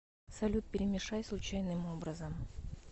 салют перемешай случайным образом